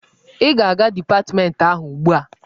Ị ga-aga dipatmentị ahụ ugbu a!